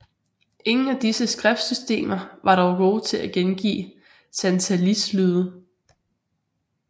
Ingen af disse skriftsystemer var dog gode til at gengive santalis lyde